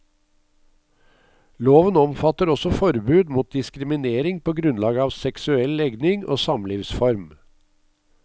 Loven omfatter også forbud mot diskriminering på grunnlag av seksuell legning og samlivsform.